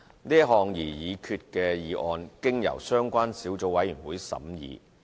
是項擬議決議案經由相關小組委員會審議。